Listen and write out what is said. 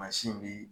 Mansin bi